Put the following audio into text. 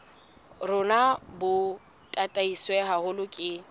rona bo tataiswe haholo ke